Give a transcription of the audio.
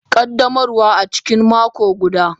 Ƙaddamarwa a cikin mako guda.